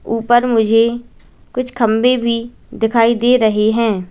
ऊपर मुझे कुछ खंबे भी दिखाई दे रहे है।